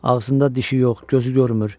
Ağzında dişi yox, gözü görmür.